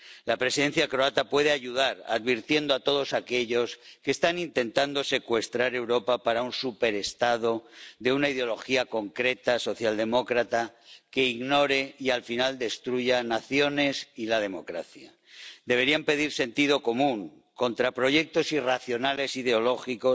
La Presidencia croata puede ayudar, advirtiendo a todos aquellos que están intentando secuestrar Europa para un superestado, de una ideología concreta socialdemócrata, que ignore y al final destruya naciones y la democracia. Deberían pedir sentido común contra proyectos irracionales ideológicos